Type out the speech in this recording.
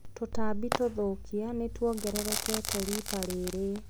Tũtambi tũthũkia nĩtuongererekete rita rĩrĩ.